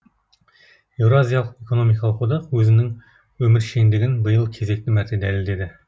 еуразиялық экономикалық одақ өзінің өміршеңдігін биыл кезекті мәрте дәлелдеді